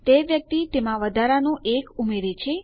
તે વ્યક્તિ તેમાં વધારાનું 1 ઉમેરે છે